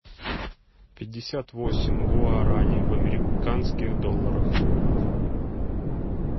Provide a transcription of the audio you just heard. пятьдесят восемь гуарани в американских долларах